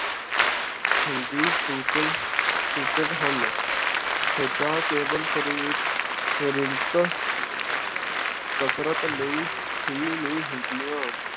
ਸੂਚਕ ਹਨ ਖੇਡਾਂ ਕੇਵਲ ਸ਼ਰੀਰਿਕ ਸ਼ਰੀਰਿਕ ਕਸਰਤ ਲਈ ਹੀ ਨਹੀਂ ਹੁੰਦੀਆਂ